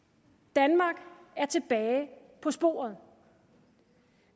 danmark er tilbage på sporet